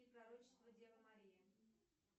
пророчества девы марии